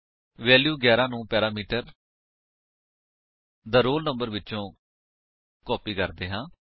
value 11 ਨੂੰ parameter the roll number ਵਿਚੋ copy ਕਰਦੇ ਹਾਂ